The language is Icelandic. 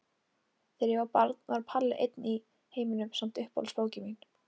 Þegar ég var barn var Palli var einn í heiminum samt uppáhaldsbókin mín.